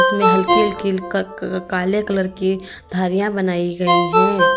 इसमें हल्की-हल्की क क काले कलर की धारियां बनाई गई है।